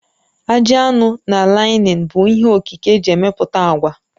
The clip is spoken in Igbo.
Ajị anụ na laịnin bụ ihe Okike eji emepụta ákwà